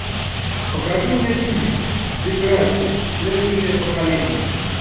покажи мне фильм деграсси следующее поколение